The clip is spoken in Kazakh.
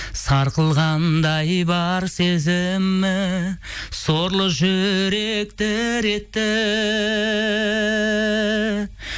сарқылғандай бар сезімім сорлы жүрек дір етті